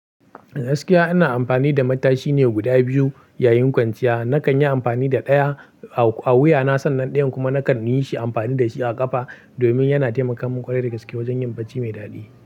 Gaskiya ina amfani da matashi ne guda biyu yayin kwanciya. Nakan yi amfani da ɗaya a a wuyana sannan ɗayan kuma nakan yi shi amfani da shi a ƙafa domin yana taimaka mun ƙware da gaske wajen yin barci mai daɗi.